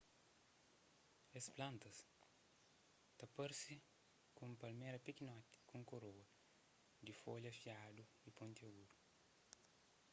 es plantas ta parse ku un palméra pikinoti ku un koroa di folha fiadu y pontagudu